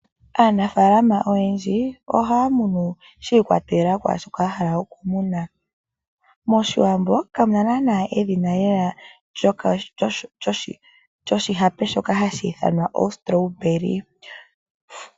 Aanafaalama oyendji ohaya munu shi ikwathela kwaashoka ya hala okumuna. Moshiwambo kamuna naana edhina lela lyoshihape shoka hashi ithanwa o Strawberry